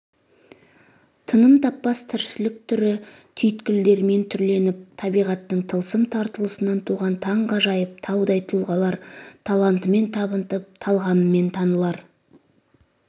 тыным таппас тіршілік түрлі түйткілдерімен түрленіп табиғаттың тылсым тартылысынан туған таңғажайып таудай тұлғалар талантымен табынтып талғамымен танылар